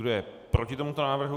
Kdo je proti tomuto návrhu?